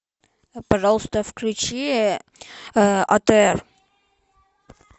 пожалуйста включи атр